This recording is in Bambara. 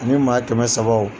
Ani maa kɛmɛ sabaw.